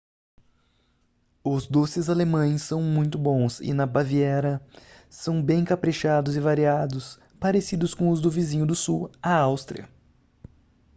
os doces alemães são muito bons e na baviera são bem caprichados e variados parecidos com os do vizinho do sul a áustria